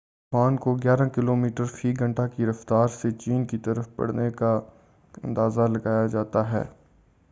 اس طوفان کو گیارہ کلومیٹر فی گھنٹہ کی رفتار سے چین کی طرف بڑھنے کا اندازہ لگایا جاتا ہے